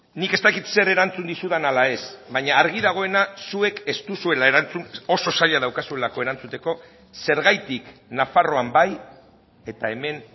nik ez dakit zer erantzun dizudan ala ez baina argi dagoena zuek ez duzuela erantzun oso zaila daukazuelako erantzuteko zergatik nafarroan bai eta hemen